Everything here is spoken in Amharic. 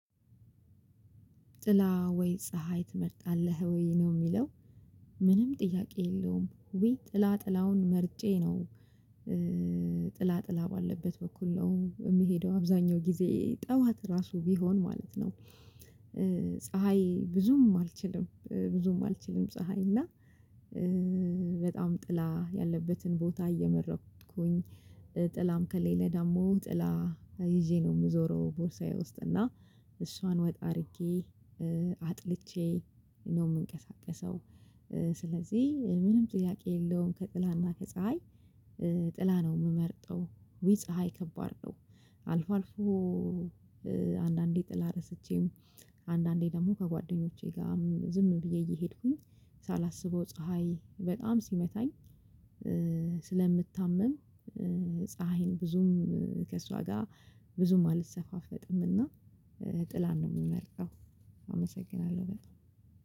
ጥላ ወይ ፀሀይ ትመርጣለህ ወይ ነው የሚለው ምንም ጥያቄ የለውም ወይ ጥላ ጥላውን መርጬ ነው ጥላ ጥላ ባለበት በኩል ነው የሚሄደው አብዛኛው ጊዜ። ጠዋት ራሱ ቢሆን ማለት ነው ፀሀይ ብዙም አልችልም ብዙም አልችልም ፀሀይ እና በጣም ጥላ ያለበትን ቦታ እየመረቅኩኝ ከሌለ ደግሞ ጥላ ይዤ ነው የምዞረው ቦርሳዬ ውስጥ እና እሷን ወጣ አድርጌ አጥልቼ ነው የምንቀሳቀሰው ስለዚህ ምንም ጥያቄ የለውም ከጥላና ከፀሀይ ጥላ ነው የምመርጠው ዊ ፀሀይ ከባድ ነው አልፎ አልፎ አንዳንዴ ጥላ ረስቼም አንዳንዴ ደግሞ ከጓደኞቼ ጋርም ዝም ብዬ እየሄድኩኝ ሳላስበው ፀሀይ በጣም ሲመታኝ ስለምታመም ፀሀይን ብዙም ከእሷ ጋር ብዙም አልሰፋፈጥምና ጥላን ነው የምመርጠው አመሰግናለሁ በጣም